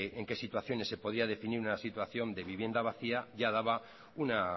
de en qué situaciones se podía definir una situación de vivienda vacía ya daba una